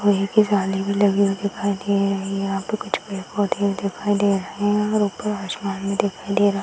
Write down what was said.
लोहे की जाली भी लगी हुई दिखाई दे रही है यहाँ पे कुछ पेड़-पौधे दिखाई दे रहे हैं और ऊपर आसमान भी दिखाई दे रा --